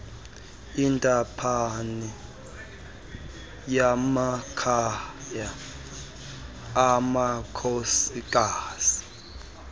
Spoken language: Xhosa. intaphane yamakhaya amakhosikazi